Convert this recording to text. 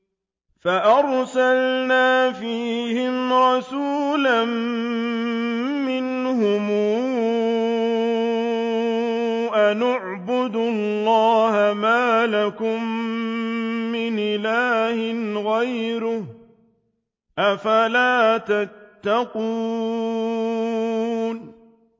فَأَرْسَلْنَا فِيهِمْ رَسُولًا مِّنْهُمْ أَنِ اعْبُدُوا اللَّهَ مَا لَكُم مِّنْ إِلَٰهٍ غَيْرُهُ ۖ أَفَلَا تَتَّقُونَ